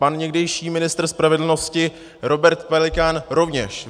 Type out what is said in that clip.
Pan někdejší ministr spravedlnosti Robert Pelikán rovněž.